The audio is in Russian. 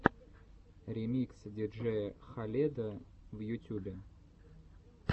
ремикс диджея халеда в ютюбе